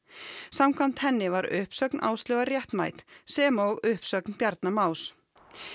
samkvæmt henni var uppsögn Áslaugar réttmæt sem og uppsögn Bjarna Más